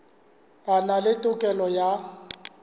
a na le tokelo ya